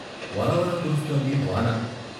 వలవల కురుస్తోంది వాన !